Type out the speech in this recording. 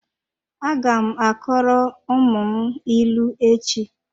Aga m akọrọ ụmụ m ịlụ echi.